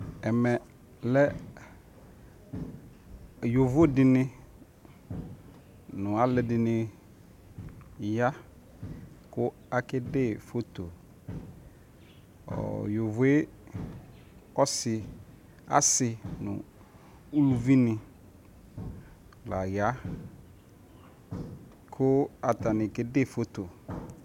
ɛmɛ lɛ yɔvɔ dini nʋ alʋɛdini ya kʋ akɛ dɛ phɔtɔ, yɔvɔɛ ɔsii asii nʋ ʋlʋvi ni laya kʋ atani kɛdɛ phɔtɔ